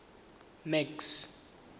max